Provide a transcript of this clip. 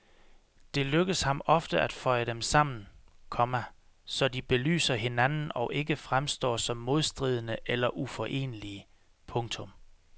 Det lykkes ham ofte at føje dem sammen, komma så de belyser hinanden og ikke fremstår som modstridende eller uforenelige. punktum